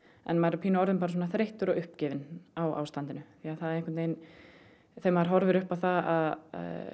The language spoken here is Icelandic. en maður er orðinn þreyttur og uppgefinn á ástandinu þegar maður horfir upp á það að